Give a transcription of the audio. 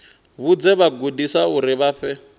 vhudze vhagudiswa uri vha fhe